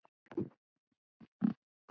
Hann logar allur af ást.